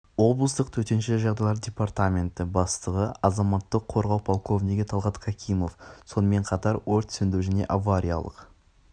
облыстық төтенше жағдайлар департаменті бастығы азаматтық қорғау пролковнигі талғат какимов сонымен қатар өрт сөндіру және авариялық